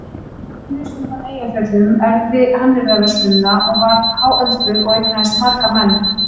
Venus undan Eyjafjöllum erfði hannyrðaverslunina og varð háöldruð og eignaðist marga menn.